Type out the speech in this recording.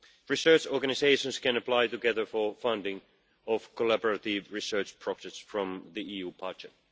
Research organisations can apply together for the funding of collaborative research projects from the EU budget.